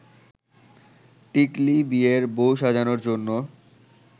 টিকলী বিয়ের বউ সাজানোর জন্য